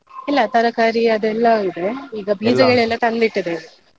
ಇಲ್ಲ ತರಕಾರಿ ಅದೆಲ್ಲವೂ ಇದೆ, ಈಗ ಬೀಜಗಳೆಲ್ಲ ತಂದು ಇಟ್ಟಿದ್ದೇವೆ.